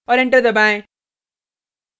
और enter दबाएँ